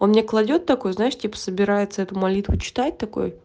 он мне кладёт такой знаешь типа собирается эту молитву читать такой